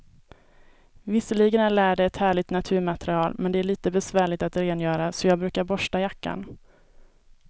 Visserligen är läder ett härligt naturmaterial, men det är lite besvärligt att rengöra, så jag brukar borsta jackan.